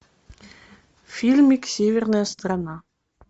фильмик северная страна